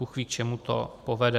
Bůhví, k čemu to povede.